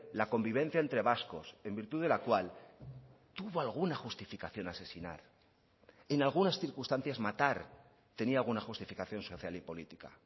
la convivencia entre vascos en virtud de la cual tuvo alguna justificación asesinar en algunas circunstancias matar tenía alguna justificación social y política